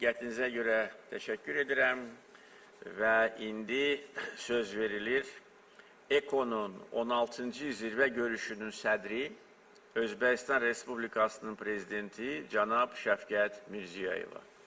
Diqqətinizə görə təşəkkür edirəm və indi söz verilir EKO-nun 16-cı zirvə görüşünün sədri Özbəkistan Respublikasının prezidenti cənab Şəfqət Mirzəyevə.